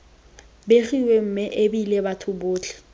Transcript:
begiwa mme ebile batho botlhe